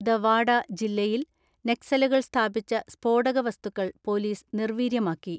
The വാഡ ജില്ലയിൽ നക്സലുകൾ സ്ഥാപിച്ച സ്ഫോടകവ സ്തുക്കൾ പൊലീസ് നിർവീര്യമാക്കി.